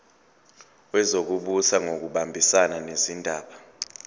wezokubusa ngokubambisana nezindaba